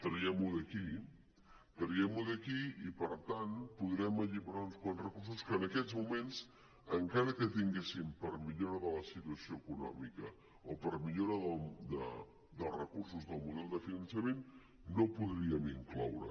traguem ho d’aquí traguem ho d’aquí i per tant podrem alliberar uns quants recursos que en aquests moments encara que tinguéssim per millora de la situació econòmica o per millora dels recursos del model de finançament no podríem incloure